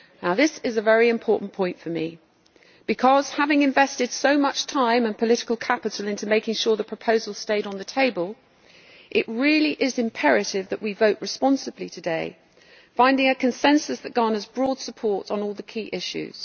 This is a very important point for me because, having invested so much time and political capital into making sure the proposal stayed on the table, it really is imperative that we vote responsibly today, finding a consensus that garners broad support on all the key issues.